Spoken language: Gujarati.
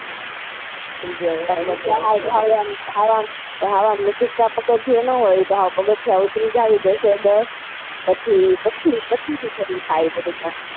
સાવ આમ નજીક ના પગથીયે નાં હોય એ તો સાવ પગથીયા ઉતરી જાવ આમ દસે દસ પછી પછી જ એ સારું થાય.